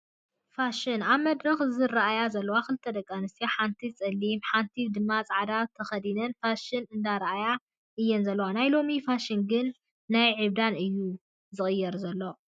ፍሽን፦ ኣብ መድረክ ዝርኣያ ዘለዋ 2 ደቂ ኣንስትዮ ሓንቲ ፀሊም ሓንቲ ድማ ፃዕዳ ተከዲነን ፋሽን እንዳኣርኣያ እየን ዘለዋ። ናይ ሎሚ ፋሽን ግና ናብ ዕብዳን እዩ ዝቅየር ዘሎ!